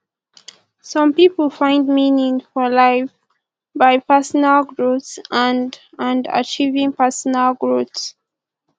some pipo find meaning for life by personal growth and and achieving personal growth